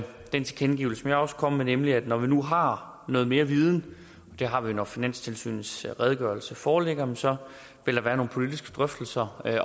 den tilkendegivelse vil jeg også komme med nemlig at når vi nu har noget mere viden og det har vi når finanstilsynets redegørelse foreligger så vil være nogle politiske drøftelser